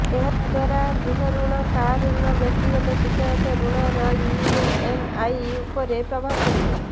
ଏହାଦ୍ୱାରା ଗୃହ ଋଣ କାର ଋଣ ବ୍ୟକ୍ତିଗତ ଶିକ୍ଷାଗତ ଋଣର ଇଏମ୍ଆଇ ଉପରେ ପ୍ରଭାବ ପଡ଼ିବ